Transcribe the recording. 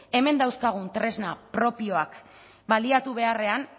hemen dauzkagun tresna propioak baliatu beharrean